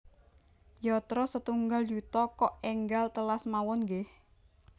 Yatra setunggal yuta kok enggal telas mawon nggeh